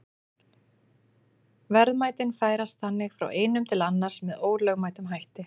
Verðmætin færast þannig frá einum til annars með ólögmætum hætti.